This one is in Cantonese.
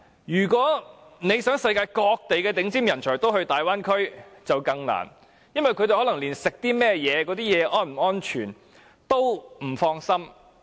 如果想世界各地的頂尖人才前往大灣區，便更困難，因為他們連進食的食品是否安全也感到不放心。